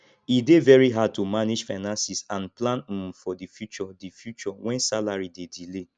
e dey very hard to manage finances and plan um for di future di future when salary dey delay